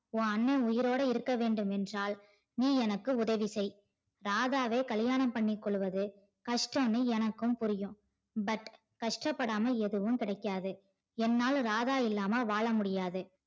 உன் அண்ணன் உயிரோட இருக்க வேண்டும் என்றால் நீ எனக்கு உதவி செய் ராதாவை கல்லியாணம் பண்ணி கொள்ளுவது கஷ்டம்னு எனக்கும் புரியும் but கஷ்ட படாம எதுவும் கிடைக்காது என்னால் ராதா இல்லாம வாழ முடியாது